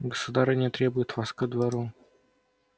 государыня требует вас ко двору